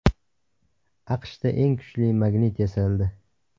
AQShda eng kuchli magnit yasaldi.